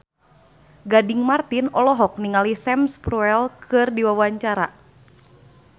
Gading Marten olohok ningali Sam Spruell keur diwawancara